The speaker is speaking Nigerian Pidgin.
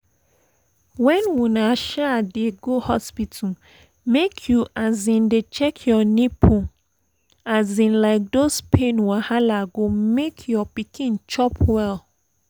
when una um dey go hospital make you um dey check your nipple um like those pain wahala go make your pikin chop well